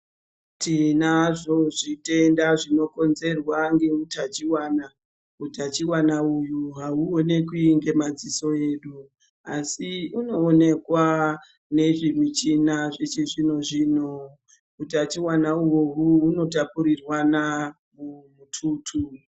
Tinazvo zvitenda zvinokonzerwa neutachivana utachivana uyu hauonekwi nemadziso edu. Asi unoonekwa nezvimichina zvechi zvino-zvino utachivana utachivana ihohu hunotapurirwana mumututu.